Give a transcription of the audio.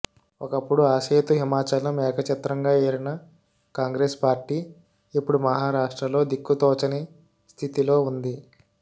ఒకప్పుడు ఆసేతు హిమాచలం ఏకఛత్రంగా ఏలిన కాంగ్రెస్ పార్టీ ఇప్పుడు మహారాష్ట్రలో దిక్కుతోచని స్థితిలో ఉంది